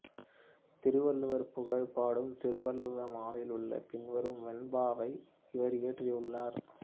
திருவள்ளுவர் புகழ் பாடும் திருவள்ளுவ மாலையிலுள்ள பின்வரும் வெண்பாவை இவர் இயற்றியுள்ளார்